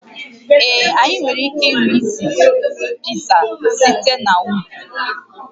Ee, anyị nwere ike ịnụ isi Pizza site n'ubi